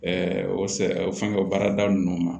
o fɛngɛ o baarada ninnu ma